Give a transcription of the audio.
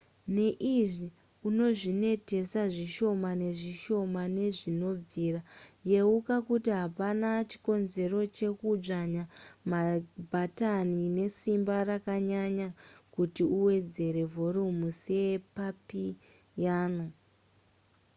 neizvi unozvinetesa zvishoma nezvishoma sezvinobvira yeuka kuti hapana chikonzero chekudzvanya mabhatani nesimba rakanyanya kuti uwedzere vhorumu sepapiyano